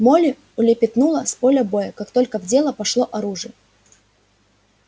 молли улепетнула с поля боя как только в дело пошло оружие